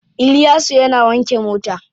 Iliyasu yana wanke mota.